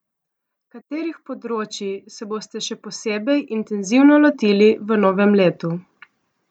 Katerih področji se boste še posebej intenzivno lotili v novem letu?